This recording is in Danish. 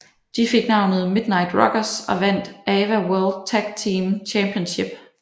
De fik navnet Midnight Rockers og vandt AWA World Tag Team Championship